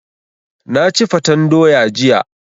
Na ci fatan doya jiya.